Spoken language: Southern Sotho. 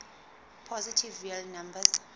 positive real numbers